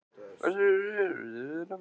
Fyrst jarðskjálftinn og svo þessi þytur.